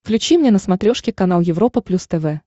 включи мне на смотрешке канал европа плюс тв